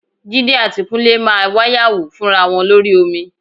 Jídé àti Kúnlé máa wáyàwó fúnra wọn lórí omi